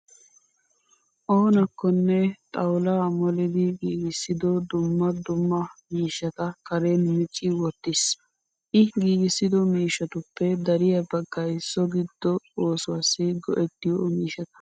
Oonakkonne xawulaa molidi giigissido dumma dumma miishshata karen micci wottis. I giigissido mishshatuppe dariyaa baggayi so giddo oosuwaassi go'ettiyoo miishshata.